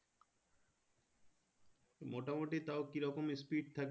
মোটামুটি তাও কিরকম speed থাকে